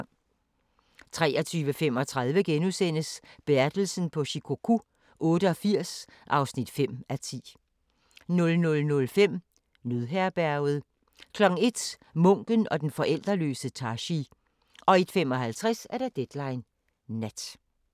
23:35: Bertelsen på Shikoku 88 (5:10)* 00:05: Nødherberget 01:00: Munken og den forældreløse Tashi 01:55: Deadline Nat